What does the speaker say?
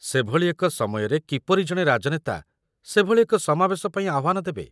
ସେଭଳି ଏକ ସମୟରେ କିପରି ଜଣେ ରାଜନେତା ସେଭଳି ଏକ ସମାବେଶ ପାଇଁ ଆହ୍ୱାନ ଦେବେ?